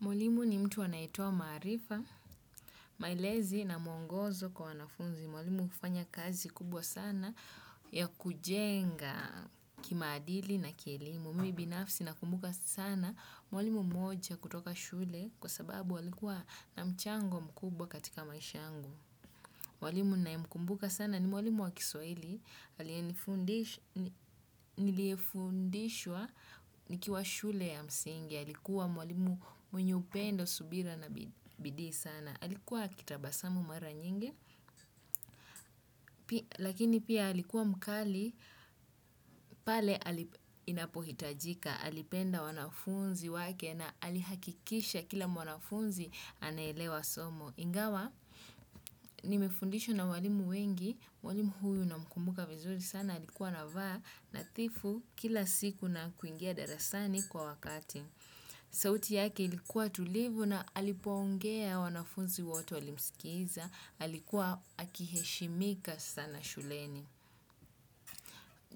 Mwalimu ni mtu anayetowa marifa, maelezi na mwongozo kwa wanafunzi. Mwalimu hufanya kazi kubwa sana ya kujenga kimaadili na kielimu. Mi binafsi na kumbuka sana mwalimu mmoja kutoka shule kwa sababu alikua na mchango mkubwa katika maishangu. Mwalimu nayemkumbuka sana ni mwalimu wa kiswahili. Niliefundishwa nikiwa shule ya msingi. Halikuwa mwalimu mwenye upendo, subira na bidii sana. Halikuwa akitabasamu mara nyingi, lakini pia halikuwa mkali pale inapohitajika. Halipenda wanafunzi wake na halihakikisha kila mwanafunzi anaelewa somo. Ingawa, nimefundishwa na walimu wengi, mwalimu huyu namkumbuka vizuri sana. Alikuwa anavaa nathifu kila siku na kuingia darasani kwa wakati. Sauti yake ilikuwa tulivu na alipongea wanafunzi wote walimsikiza, alikuwa akiheshimika sana shuleni.